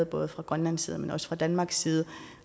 både fra grønlands side men også fra danmarks side